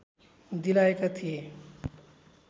दिलाएका थिए